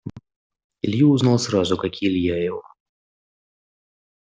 илью узнал сразу как и илья его